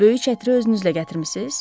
Böyük çətiri özünüzlə gətirmisiz?